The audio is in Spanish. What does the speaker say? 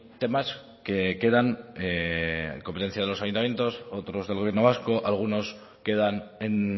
temas que quedan en competencias de los ayuntamientos otros del gobierno vasco algunos quedan en